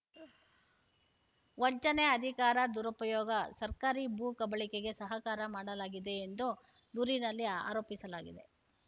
ವಂಚನೆ ಅಧಿಕಾರ ದುರುಪಯೋಗ ಸರ್ಕಾರಿ ಭೂ ಕಬಳಿಕೆಗೆ ಸಹಕಾರ ಮಾಡಲಾಗಿದೆ ಎಂದು ದೂರಿನಲ್ಲಿ ಆರೋಪಿಸಲಾಗಿದೆ